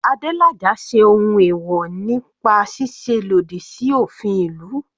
Adelaja ṣe ohun ẹ̀wọ̀ nípa ṣíṣe lòdì sí òfin ìlú.